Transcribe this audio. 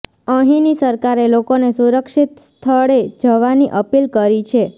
અહીંની સરકારે લોકોને સુરક્ષિત સ્થળે જવાની અપીલ કરી છે